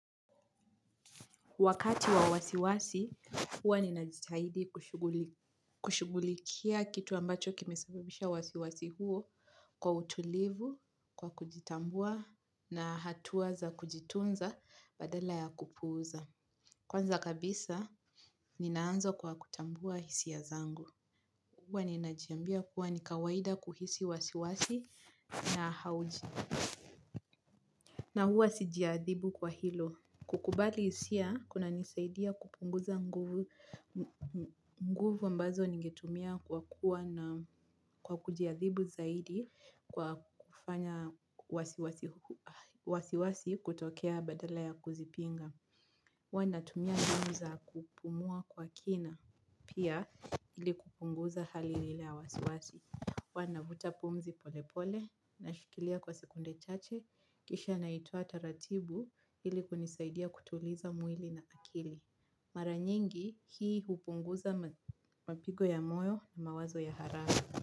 Wakati wa wasiwasi, huwa ninajitahidi kushugulikia kitu ambacho kimesababisha wasiwasi huo, kwa utulivu, kwa kujitambua na hatua za kujitunza badala ya kupuuza. Kwanza kabisa, ninaanza kwa kutambua hisia zangu. Huwa ninajiambia kuwa nikawaida kuhisi wasiwasi na hauji. Na huwa sijiadhibu kwa hilo. Kukubali hisia, kunanisaidia kupunguza nguvu ambazo ningetumia kwa kuwa na kujiadhibu zaidi, kwa kufanya wasiwasi kutokea, badala ya kuzipinga. Ua natumia namna za kupumua kwa kina, pia ili kupunguza hali lile ya wasiwasi. Uanavuta pumzi polepole na shikilia kwa sekunde chache kisha naitoa taratibu, ili kunisaidia kutuliza mwili na akili. Mara nyingi hii hupunguza mapigo ya moyo na mawazo ya haramu.